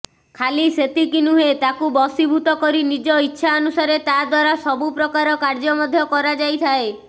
ଖାଲି ସେତିକି ନହେଁ ତାକୁ ବଶିଭୂତ କରି ନିଜ ଇଚ୍ଛା ଅନୁସାରେ ତାଦ୍ୱାରା ସବୁପ୍ରକାର କାର୍ଯ୍ୟ ମଧ୍ୟ କରାଯାଇଥାଏ